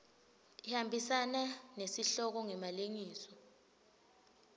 ihambisana nesihloko ngemalengiso